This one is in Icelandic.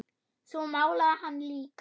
Svo málaði hann líka.